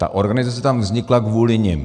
Ta organizace tam vznikla kvůli nim.